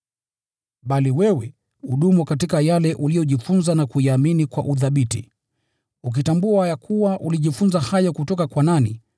Bali wewe, udumu katika yale uliyojifunza na kuyaamini kwa uthabiti, ukitambua ya kuwa ulijifunza hayo kutoka kwa nani,